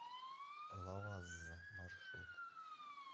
лавазза маршрут